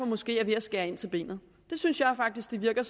måske ved at skære ind til benet jeg synes faktisk det virker